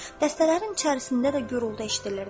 Dəstələrin içərisində də gurultu eşidilirdi.